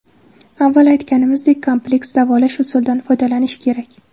Avval aytanimizdek, kompleks davolash usulidan foydalanish kerak.